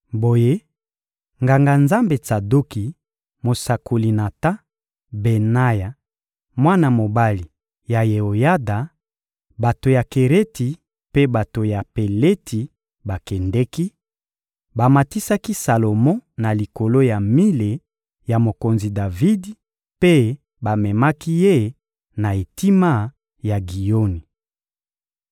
Boye, Nganga-Nzambe Tsadoki, mosakoli Natan, Benaya, mwana mobali ya Yeoyada, bato ya Kereti mpe bato ya Peleti bakendeki, bamatisaki Salomo na likolo ya mile ya mokonzi Davidi mpe bamemaki ye na etima ya Giyoni.